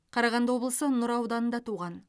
қарағанды облысы нұра ауданында туған